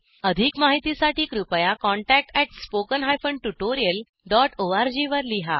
अधिक माहितीसाठी कृपया contact at spoken hyphen tutorial dot ORG वर लिहा